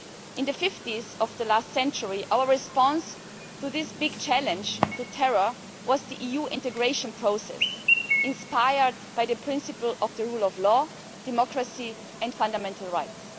In the fifties of the last century our response to this big challenge of terror was the EU integration process inspired by the principle of the rule of law, democracy and fundamental rights.